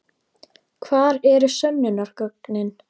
Hvar eru sönnunargögnin?